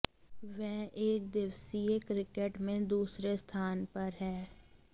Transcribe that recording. वह एकदिवसीय क्रिकेट में दूसरे स्थान पर हैं